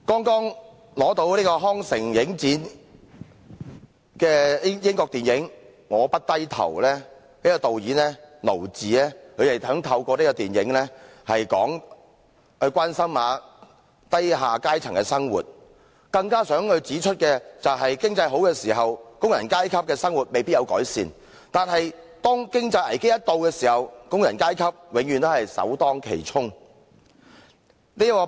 剛在康城影展獲獎的英國電影"我，不低頭"的導演堅盧治，想透過這套電影關心低下階層的生活，更想指出在經濟好時，工人階級的生活未必有所改善，但每當遇到經濟危機，工人階級永遠首當其衝。